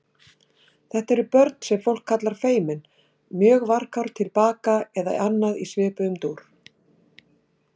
Þetta eru börn sem fólk kallar feimin, mjög varkár, tilbaka eða annað í svipuðum dúr.